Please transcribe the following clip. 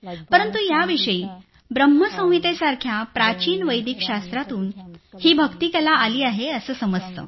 परंतु याविषयी ब्रह्म संहितेसारख्या प्राचीन वेदिक शास्त्रातून ही भक्ती कला आली आहे हे समजतं